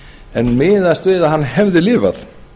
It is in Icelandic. en miðast við hefði hann lifað